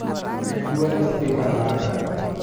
med dwol e spika maga